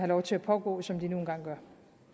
lov til at pågå som de nu en gang